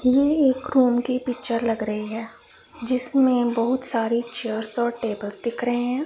ये एक रूम की पिक्चर लग रही है जिसमें बहुत सारी चेयर्स व टेबल दिख रहे हैं।